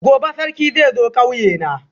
gobe Sarki zai zo kauyena